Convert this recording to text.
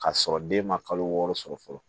K'a sɔrɔ den ma kalo wɔɔrɔ sɔrɔ fɔlɔ